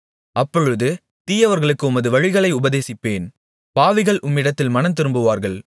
அப்பொழுது தீயவர்களுக்கு உமது வழிகளை உபதேசிப்பேன் பாவிகள் உம்மிடத்தில் மனந்திரும்புவார்கள்